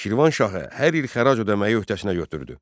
Şirvan şahı hər il xərac ödəməyə öhdəsinə götürdü.